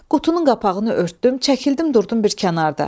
Qutunun qapağını örtdüm, çəkildim durdum bir kənarda.